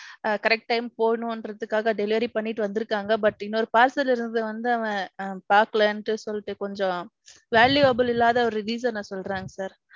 correct time போகணுங்கிறதுக்காக delivery பண்ணிட்டு வந்துருக்காங்க. But, இன்னொரு parcel இருந்தது வந்து அவன் பாக்கலேண்டு சொல்லிட்டு கொஞ்சம். valuable இல்லாத ஓரு reason ன சொல்றான் sir.